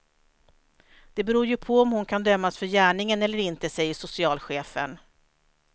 Det beror ju på om hon kan dömas för gärningen eller inte, säger socialchefen.